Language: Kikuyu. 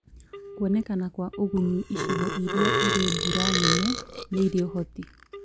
Kwonekana kwa ũgunyu. Icigo iria irĩ mbura nene nĩirĩ ũhoti